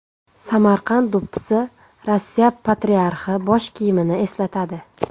Samarqand do‘ppisi Rossiya patriarxi bosh kiyimini eslatadi.